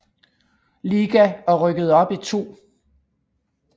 Liga og rykkede op i 2